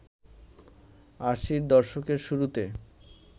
আশির দশকের শুরুতে